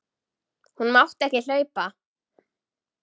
Hún mátti ekki hlaupa.